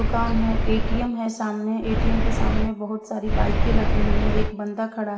दुकान है ए_टी_एम है सामने ए_टी_एम के सामने बहुत सारी बाईकें लगी हुई है एक बंदा खड़ा है।